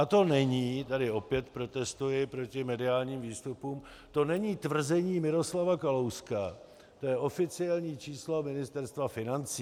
A to není - tady opět protestuji proti mediálním výstupům - to není tvrzení Miroslava Kalouska, to je oficiální číslo Ministerstva financí.